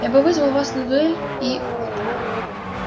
я бы вызвал вас на дуэль и